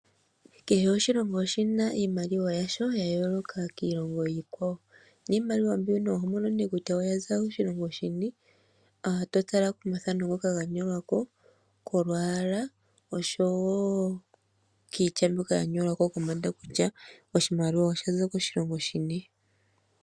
Kehe oshilongo oshi na oshimaliwa yasho ya yooloka kiilongo iikwawo, niimaliwa mbyono oho mono ne kutya oya za koshilongo shini, to tala komathano ngoka ga nyolwa ko, kolwaala, osho wo kiitya mbyoka ya nyolwa ko kombanda kutya oshimaliwa osha za koshilongo shini.